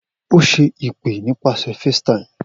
O ṣe awọn ipe nipasẹ FaceTime